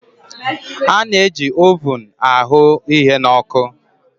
A na-eji ovun a hụ ihe na ọkụ.